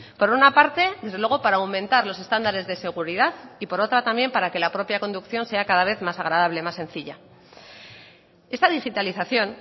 por una parte desde luego para aumentar los estándares de seguridad y por otra también para que la propia conducción sea cada vez más agradable más sencilla esta digitalización